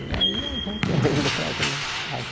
E aí a gente ainda trazendo